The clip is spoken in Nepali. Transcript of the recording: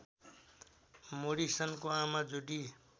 मोरिसनको आमा जुडी